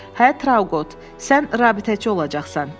Hə, Trauqot, sən rabitəçi olacaqsan.